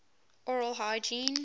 oral hygiene